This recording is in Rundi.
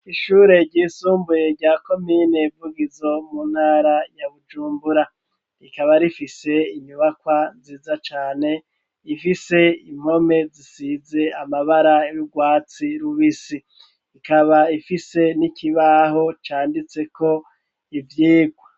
Ishure ryisumbuye rya komine Vugizo mu ntara ya Bujumbura rikaba rifise inyubakwa nziza cane ifise impome zisize amabara y'urwatsi rubisi ikaba ifise n'ikibaho canditseko ivyirwa